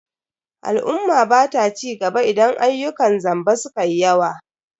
Al'umma bata cigaba idan ayyukan zamba sukayi yawa.